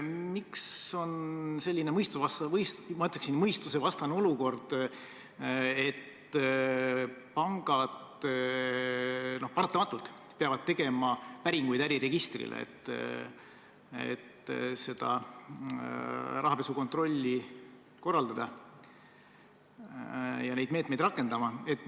Miks on meil selline, ma ütleksin, mõistusvastane olukord, et pangad peavad paratamatult tegema äriregistris päringuid, et rahapesukontrolli korraldada, ja neid meetmeid rakendama?